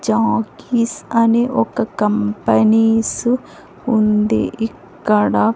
Jockeys అని ఒక companies ఉంది ఇక్కడ.